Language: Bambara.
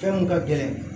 Fɛn mun ka gɛlɛn